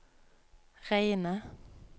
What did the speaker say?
reine